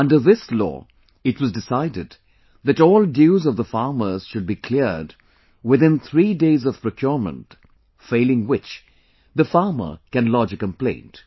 Under this law, it was decided that all dues of the farmers should be cleared within three days of procurement, failing which, the farmer can lodge a complaint